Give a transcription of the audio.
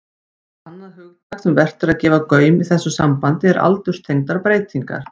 Annað hugtak sem vert er að gefa gaum í þessu sambandi er aldurstengdar breytingar.